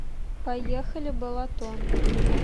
поехали балатон